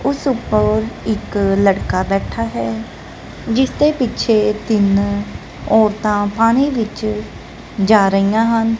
ਉਸ ਉਪਰ ਇੱਕ ਲੜਕਾ ਬੈਠਾ ਹੈ ਜਿਸਦੇ ਪਿੱਛੇ ਤਿੰਨ ਔਰਤਾਂ ਪਾਣੀ ਵਿੱਚ ਜਾ ਰਹੀਆਂ ਹਨ।